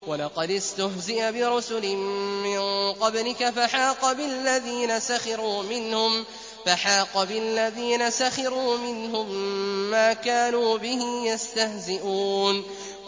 وَلَقَدِ اسْتُهْزِئَ بِرُسُلٍ مِّن قَبْلِكَ فَحَاقَ بِالَّذِينَ سَخِرُوا مِنْهُم مَّا كَانُوا بِهِ يَسْتَهْزِئُونَ